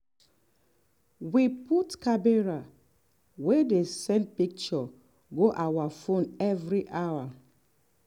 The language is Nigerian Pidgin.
we put wey dey send picture go our phone every hour.